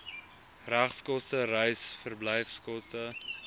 regskoste reis verblyfkoste